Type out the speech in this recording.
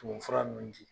Tumu fura ninnu di